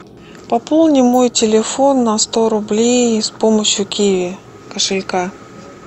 пополни мой телефон на сто рублей с помощью киви кошелька